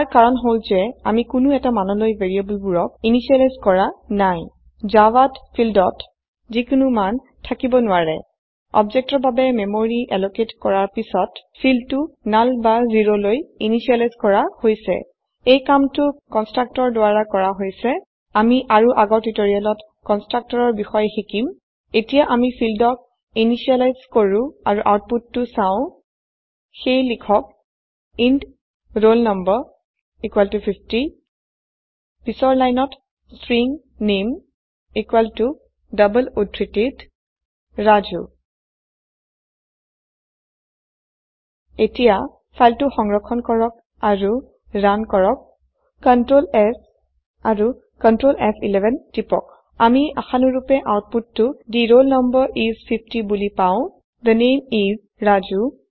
ইয়াৰ কাৰন হল জে আমি কোনো এটা মানলৈ ভেৰিয়েবলবোৰক ইনিসিয়েলাইজ কৰা নাই জাভাত ফিল্ডত যিকোনো মান থাকিব নৱাৰে অবজেক্টৰ বাবে মেমৰি এলকেট কৰাৰ পাছত ফিল্ডটো নাল বা জিৰলৈ ইনিসিয়েলাইজ কৰা হৈছে এই কামটো কনষ্ট্ৰাক্টৰ কন্চট্ৰাকটৰ দাৰা কৰা হৈছে আমি আৰু আগৰ টিউটেৰিয়েলত কন্চট্ৰাকটৰৰ বিসয়ে সিকিম এতিয়া আমি ফিল্ডক ইনিসিয়েলাইজ কৰু আৰু আউটপুটটো ছাও সেই লিখক ইণ্ট roll no 50 পিছৰ লাইনত স্ট্ৰিং নেম ষ্ট্ৰিং নামে e ডবল উদ্ধৃতিত ৰাজু ৰাজু এতিয়া ফাইলটো সংৰক্ষণ কৰক আৰো ৰান কৰক Ctrl s আৰু Ctrl ফ11 টিপক আমি আসানুৰূপে আউতপোটটো থে ৰোল নাম্বাৰ ইচ 50 বুলি পাও থে নামে ইচ ৰাজু